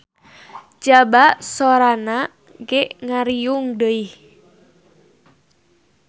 Jaba soranana ge ngirung deuih.